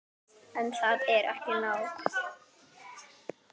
En það er ekki nóg.